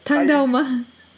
таңдау ма